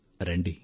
రండి